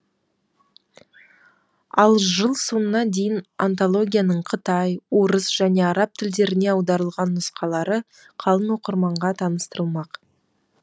ал жыл соңына дейін антологияның қытай орыс және араб тілдеріне аударылған нұсқалары қалың оқырманға таныстырылмақ